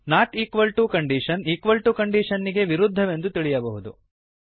not equal to condition equal to ಕಂಡೀಷನ್ನಿಗೆ ವಿರುದ್ದವೆಂದು ತಿಳಿಯಬಹುದು